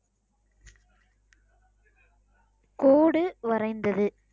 கோடு வரைந்தது